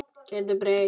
Gerður breytt.